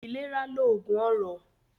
Ilera loogun ọrọ